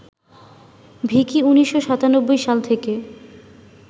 ভিকি ১৯৯৭ সাল থেকে